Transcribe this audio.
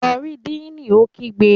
Lọ rí díìnì! Ó kígbe.